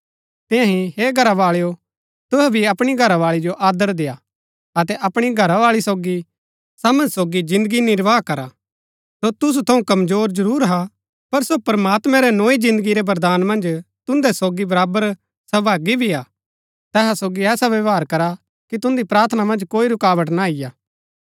तियां ही हे घरावाळेओ तुहै भी अपणी घरावाळी जो आदर देय्आ अतै अपणी घरावाळी सोगी समझ सोगी जिन्दगी निर्वाह करा सो तुसु थऊँ कमजोर जरूर हा पर सो प्रमात्मैं रै नोई जिन्दगी रै वरदान मन्ज तुन्दै सोगी बराबर सहभागी भी हिन तैहा सोगी ऐसा व्यवहार करा कि तुन्दी प्रार्थना मन्ज कोई रूकावट ना अईआ